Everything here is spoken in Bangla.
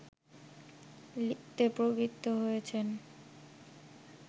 লিখতে প্রবৃত্ত হয়েছেন